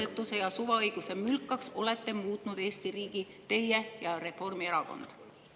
… seadusetuse ja suvaõiguse mülkaks olete muutnud Eesti riigi teie ja Reformierakond?